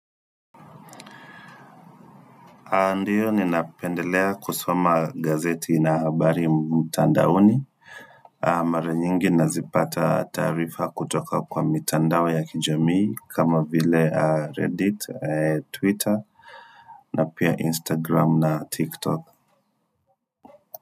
Ndio, ninapendelea kusoma gazeti na habari mtandaoni, mara nyingi nazipata taarifa kutoka kwa mitandao ya kijamii kama vile Reddit, Twitter na pia Instagram na tiktok.